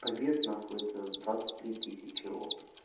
побед нахуй это двадцать три тысячи опыта